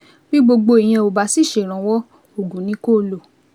Bí gbogbo ìyẹn ò bá sì ṣèrànwọ́, oògùn ni kó o lò